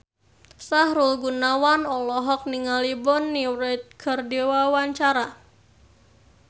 Sahrul Gunawan olohok ningali Bonnie Wright keur diwawancara